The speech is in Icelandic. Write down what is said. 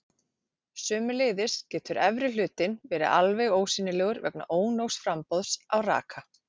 sömuleiðis getur efri hlutinn verið alveg ósýnilegur vegna ónógs framboðs á raka